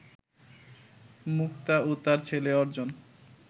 মুক্তা ও তার ছেলে অর্জন